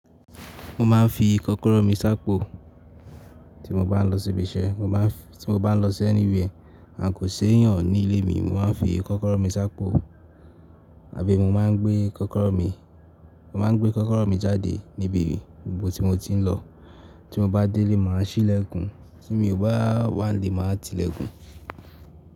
Mo máa ń fi kọ́kọ́rọ́ mi ṣápò tí mo bá ń lọ síbi iṣẹ́, tí mo bá ń lọ sí anywhere. Àǹkóò ṣe èèyàn ní ilé mi, mo máa ń fi kọ́kọ́rọ́ mi ṣápò àbí mo máa ń gbé kọ́kọ́rọ́ mi, mo máa ń gbé kọ́kọ́rọ́ mi jáde níbi ibi gbogbo tí mo ti ń lọ. Tí mo bá délé, màá ṣí ìlẹ̀kùn, tí mi ò bá wà nílé, màá ti ìlẹ̀kùn.